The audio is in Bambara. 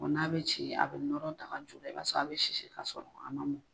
n'a bɛ ci a bɛ nɔrɔ daga ju la i b'a sɔrɔ a bɛ sisi k'a sɔrɔ a man mɔn.